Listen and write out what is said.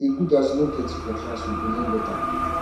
e good as we no plenty for class we go learn better